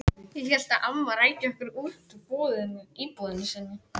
Ég hélt að amma ræki okkur út úr íbúðinni sinni.